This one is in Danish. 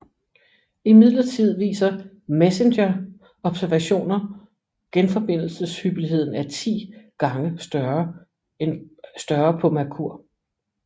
Imidlertid viser MESSENGER observationer genforbindelseshyppigheden er 10 gange større på Merkur